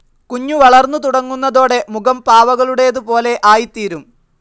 കുഞ്ഞു വളർന്നു തുടങ്ങുന്നതോടെ മുഖം പാവകളുടേതുപോലെ ആയിത്തീരും.